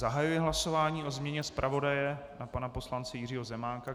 Zahajuji hlasování o změně zpravodaje na pana poslance Jiřího Zemánka.